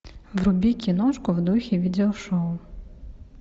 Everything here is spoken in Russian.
вруби киношку в духе видео шоу